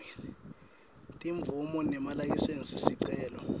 timvumo nemalayisensi sicelo